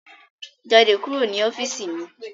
Jáde kúrò ní ọ́fíìsì mi